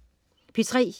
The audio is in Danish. P3: